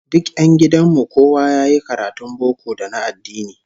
Duk 'yan gidan mu kowa yayi karatun boko da na addini